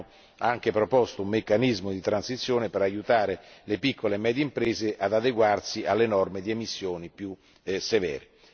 Abbiamo proposto un meccanismo di transizione per aiutare le piccole e medie imprese ad adeguarsi alle norme di emissioni più severe.